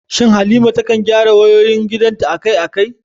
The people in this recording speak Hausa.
Shin Halima ta kan gyara wayoyin gidanta akai-akai?